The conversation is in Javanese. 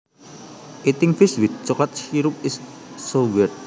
Eating fish with chocolate syrup is so weird